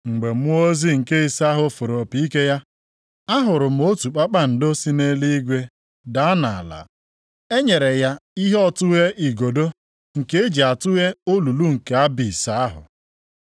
Mgbe mmụọ ozi nke ise ahụ fụrụ opi ike ya, ahụrụ m otu kpakpando si nʼeluigwe daa nʼala. E nyere ya ihe ọtụghe igodo nke e ji atụghe olulu nke Abis + 9:1 E mere ka anyị mata na ọ bụ olulu na-enweghị nsọtụ. ahụ.